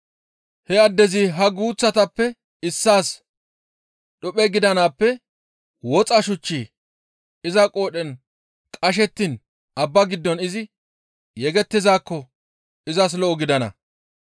He addezi ha guuththatappe issaas dhuphe gidanaappe woxa shuchchi iza qoodhen qashettiin abba giddo izi yegettizaakko izas lo7o gidana.